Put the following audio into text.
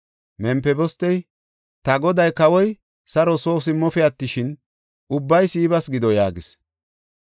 Mempibostey, “Ta goday, kawoy saro soo simmaafe attishin, ubbay Siibas gido” yaagis.